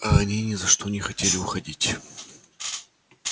а они ни за что не хотели уходить